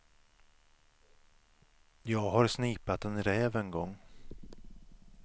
Jag har snipat en räv en gång.